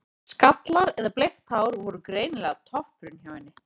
Skallar eða bleikt hár voru greinilega toppurinn hjá henni.